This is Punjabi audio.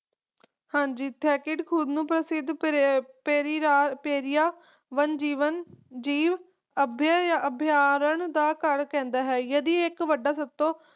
ਹਾਂਜੀ ਖੁਦ ਨੂੰ ਪ੍ਰਸਿੱਧ ਪੇਰਿਆ ਵਨ ਜੀਵਨ ਜੀਵ ਅਭੀ~ ਅਭ੍ਯਾਰਣ ਦਾ ਘਰ ਕਹਿੰਦਾ ਹੈ ਯਦਿ ਇਕ ਵੱਡਾ ਸਭ ਤੋਂ